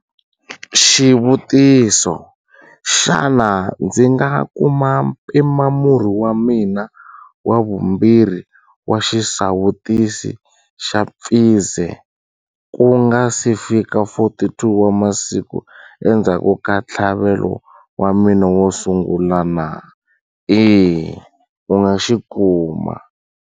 Xivutiso- Xana ndzi nga kuma mpimamurhi wa mina wa vumbirhi wa xisawutisi xa Pfizer ku nga si fika 42 wa masiku endzhaku ka ntlhavelo wa mina wo sungula?